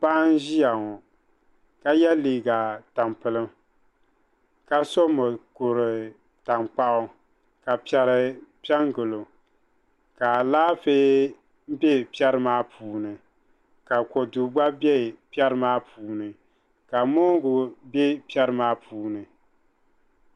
Paɣa n ziya ŋɔ ka yiɛ liiga tampilim ka so mokuri tankpaɣu ka piɛri pɛ n gili o ka alaafee bɛ piɛri maa puuni ka kodu gba bɛ piɛri maa puuni ka mongu bɛ piɛri maa puuni.